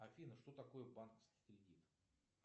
афина что такое банковский кредит